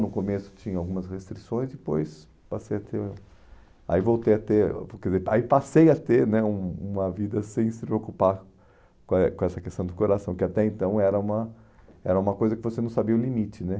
No começo tinha algumas restrições, depois passei a ter... Aí voltei a ter... porque Aí passei a ter né um uma vida sem se preocupar com eh com essa questão do coração, que até então era uma era uma coisa que você não sabia o limite, né?